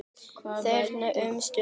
Þeir þegja um stund.